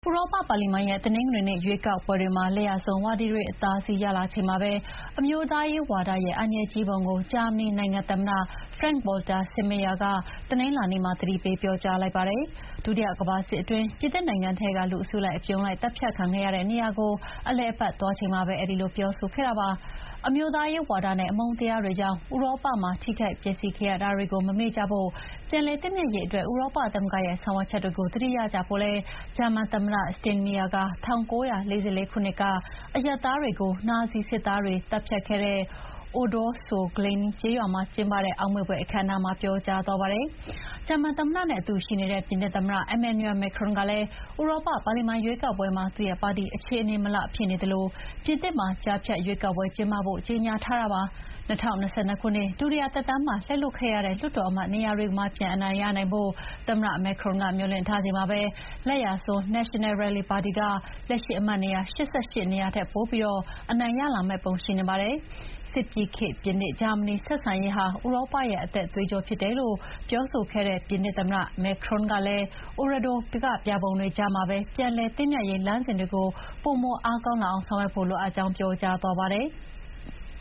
ဥရောပပါလီမန်ရဲ့ တနင်္ဂနွေနေ့ ရွေးကောက်ပွဲတွေမှာ လက်ယာစွန်းဝါဒီတွေအသာစီးရလာချိန်မှာပဲ အမျိုးသားရေးဝါဒရဲ့ အန္တရာယ်ကြီးပုံကို ဂျာမနီနိုင်ငံ သမ္မတ Frank-Walter Steinmeier က တနင်္လာနေ့မှာ သတိပေးပြောကြားလိုက်ပါတယ်။ ဒုတိယကမ္ဘာစစ်အတွင်း ပြင်သစ်နိုင်ငံထဲက လူအစုလိုက်အပြုံလိုက်သတ်ဖြတ်ခံခဲ့တဲ့နေရာကို အလည်အပတ်သွားချိန်မှာ အဲဒီလိုပြောဆိုခဲ့တာပါ။ အမျိုးသားရေးဝါဒနဲ့ အမုန်းတရားကြောင့် ဥရောပမှာ ထိခိုက်ပျက်စီးခဲ့ရတာကို မမေ့ကြဖို့၊ ပြန်လည်သင့်မြတ်ရေးအတွက် ဥရောပသမဂ္ဂရဲ့ ဆောင်ရွက်ချက်ကို သတိရကြဖို့လည်း ဂျာမန်သမ္မတ Steinmeier က ၁၉၄၄ ခုနှစ်က အရပ်သားတွေကို နာဇီစစ်သားတွေသတ်ဖြတ်ခဲ့တဲ့ Oradour-sur-Glane ကျေးရွာမှာကျင်းပတဲ့ အောက်မေ့ဖွယ်အခမ်းအနားမှာ ပြောကြားသွားပါတယ်။ ဂျာမန်သမ္မတနဲ့အတူရှိနေတဲ့ ပြင်သစ်သမ္မတ Emmanuel Macron ကလည်း ဥရောပပါလီမန်ရွေးကောက်ပွဲမှာ သူ့ရဲ့ပါတီ အခြေအနေမလှဖြစ်နေသလို ပြင်သစ်မှာ ကြားဖြတ်ရွေးကောက်ပွဲကျင်းပဖို့ ကြေညာထားတာပါ။ ၂၀၂၂ ခုနှစ် ဒုတိယသက်တမ်းမှာ လက်လွှတ်ခဲ့ရတဲ့ လွှတ်တော်အမတ်နေရာတွေမှာ ပြန်အနိုင်ရဖို့ သမ္မတ Macron ကမျှော်လင့်ထားချိန်မှာ လက်ယာစွန်း National Rally ပါတီက လက်ရှိအမတ်နေရာ ၈၈ နေရာထက် ပိုပြီး အနိုင်ရလာမယ့်ပုံရှိနေပါတယ်။ စစ်ပြီးခေတ် ပြင်သစ်-ဂျာမနီဆက်ဆံရေးဟာ ဥရောပရဲ့ အသက်သွေးကြောဖြစ်တယ်လို့ ပြောဆိုခဲ့တဲ့ပြင်သစ်သမ္မတ Macron ကလည်း Oradour ကပြာပုံတွေကြားမှာပဲ ပြန်လည်သင့်မြတ်ရေးလမ်းစဥ်တွေ ပိုမိုအားကောင်းလာအောင်ဆောင်ရွက်သွားဖို့လိုအပ်ကြောင်း ပြောကြားသွားပါတယ်။